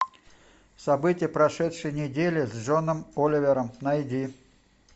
события прошедшей недели с джоном оливером найди